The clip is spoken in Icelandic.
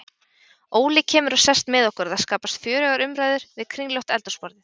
Óli kemur og sest með okkur og það skapast fjörugar umræður við kringlótt eldhúsborðið.